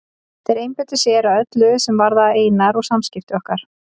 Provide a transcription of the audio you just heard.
Þeir einbeittu sér að öllu er varðaði Einar og samskipti okkar.